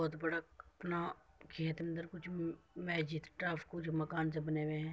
बहुत बड़ा अपना खेत अंदर कुछ म-मजीद टाइप कुछ मकान से बने हुए हैं।